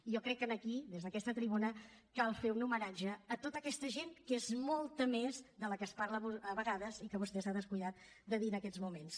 jo crec que aquí des d’aquesta tribuna cal fer un homenatge a tota aquesta gent que és molta més de la de què es parla a vegades i que vostè s’ha descuidat de dir en aquests moments